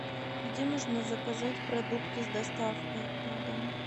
где можно заказать продукты с доставкой на дом